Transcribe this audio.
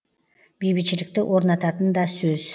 бейбітшілікті орнататын да сөз